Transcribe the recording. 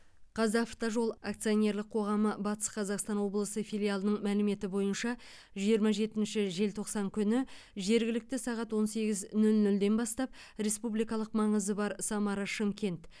қазавтожол акционерлік қоғамы батыс қазақстан облысы филиалының мәліметі бойынша жиырма жетінші желтоқсан күні жергілікті сағат он сегіз нөл нөлден бастап республикалық маңызы бар самара шымкент